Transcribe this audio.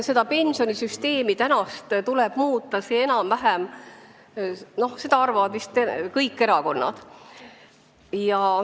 Seda, et pensionisüsteemi tuleb muuta, arvavad vist kõik erakonnad.